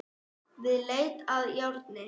Við leit að járni